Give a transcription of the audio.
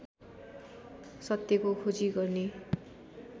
सत्यको खोजी गर्ने